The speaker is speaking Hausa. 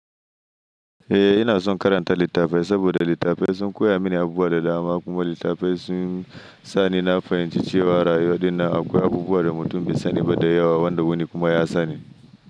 Eh ina son karanta littafai saboda littafai sun koya mini abubuwa da dama kuma littafai sun sani na fahimci cewa rayuwa dinnan akwai abubuwa da mutum bai sani ba da yawa wanda wani kuma ya sani.